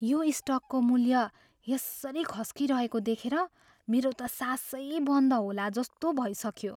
यो स्टकको मूल्य यसरी खस्किरहेको देखेर मेरो त सासै बन्द होलाजस्तो भइसक्यो।